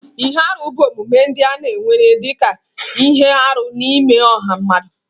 Ihe arụ bụ omume ndị a na-ewere dị ka ihe arụ n'ime ọha mmadụ.